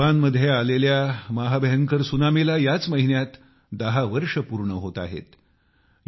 याच महिन्यात जपानमध्ये आलेल्या महाभयंकर सुनामीला 10 वर्ष पूर्ण होत आहेत